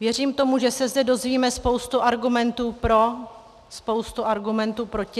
Věřím tomu, že se zde dozvíme spoustu argumentů pro, spoustu argumentů proti.